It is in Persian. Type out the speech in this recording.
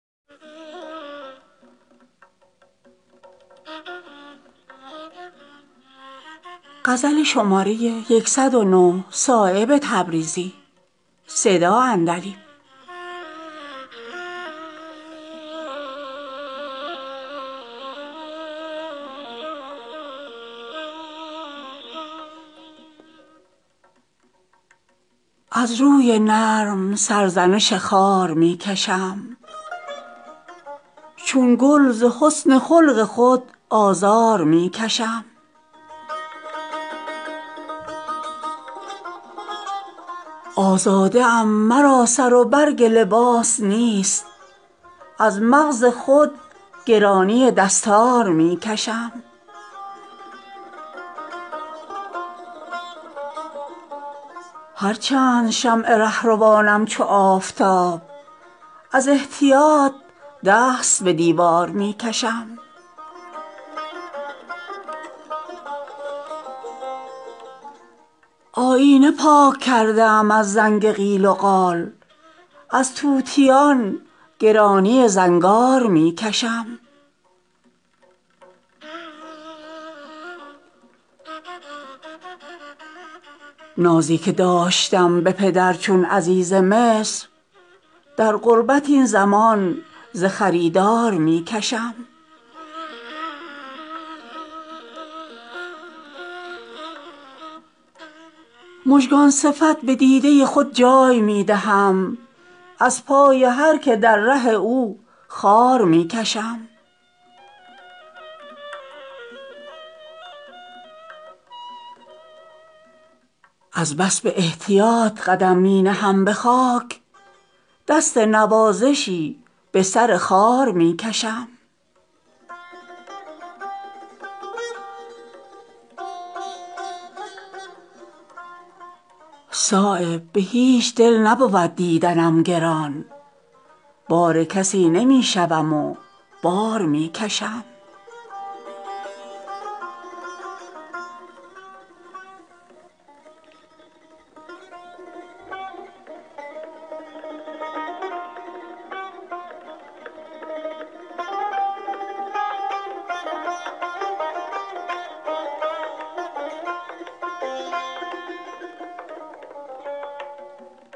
از روی نرم سرزنش خار می کشم چون گل ز حسن خلق خود آزار می کشم آزاده ام مرا سر و برگ لباس نیست از مغز خود گرانی دستار می کشم هر چند شمع راهروانم چو آفتاب از احتیاط دست به دیوار می کشم آیینه پاک کرده ام از زنگ قیل و قال از طوطیان گرانی زنگار می کشم جان می رسد به لب من شیرین کلام را تا حرف تلخی از دهن یار می کشم نازی که داشتم به پدر چون عزیز مصر در غربت این زمان ز خریدار می کشم مژگان صفت به دیده خود جای می دهم از پای هر که در ره او خار می کشم از بس به احتیاط قدم می نهم به خاک دست نوازشی به سر خار می کشم بی پرده تر چو بوی گل از برگ می شود هر چند پرده بر رخ اسرار می کشم صایب به هیچ دل نبود دیدنم گران بار کسی نمی شوم و بار می کشم